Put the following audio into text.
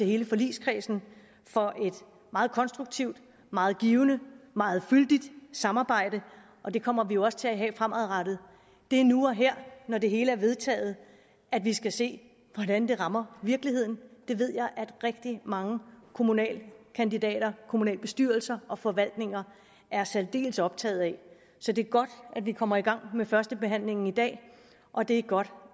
hele forligskredsen for et meget konstruktivt meget givende meget fyldigt samarbejde og det kommer vi jo også til at have fremadrettet det er nu og her når det hele er vedtaget at vi skal se hvordan det rammer virkeligheden det ved jeg at rigtig mange kommunalkandidater kommunalbestyrelser og forvaltninger er særdeles optaget af så det er godt at vi kommer i gang med førstebehandlingen i dag og det er godt